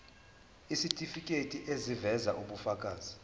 isitifiketi eziveza ubufakazi